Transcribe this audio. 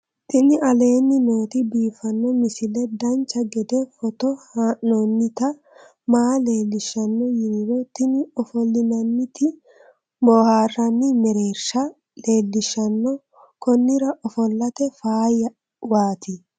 tini aleenni nooti biiffanno misile dancha gede foto haa'noonniti maa leellishanno yiniro tini ofollinannita booharranni mereershsha leellishshanno konnira ofollate faayyawaati